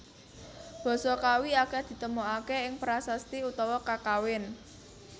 Basa Kawi akeh ditemoaké ing prasasti utawa kakawin